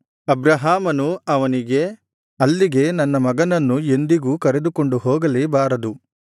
ಅಬ್ರಹಾಮನು ಅವನಿಗೆ ಅಲ್ಲಿಗೆ ನನ್ನ ಮಗನನ್ನು ಎಂದಿಗೂ ಕರೆದುಕೊಂಡು ಹೋಗಲೇ ಬಾರದು